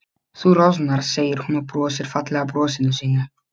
Þú roðnar, segir hún og brosir fallega brosinu sínu.